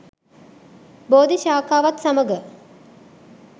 බෝධිශාඛාවත් සමඟ